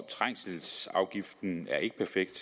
trængselsafgiften er ikke perfekt